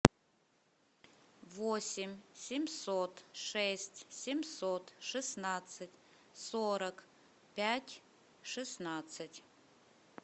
восемь семьсот шесть семьсот шестнадцать сорок пять шестнадцать